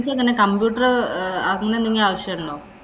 computer അങ്ങനെയെന്തെങ്കിലും ആവശ്യമുണ്ടോ?